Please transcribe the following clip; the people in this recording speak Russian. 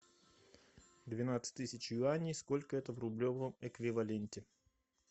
двенадцать тысяч юаней сколько это в рублевом эквиваленте